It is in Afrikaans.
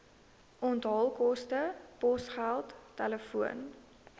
onthaalkoste posgeld telefoon